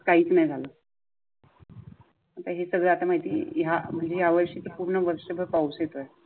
मते काहीच नाही झाल. हे सगळे आता माहित आहे या म्हणजे यावर्षी पूर्ण वर्षभर पाऊस येतो.